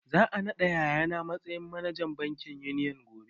Za a naɗa yaya na matsayin manajan bankin Union gobe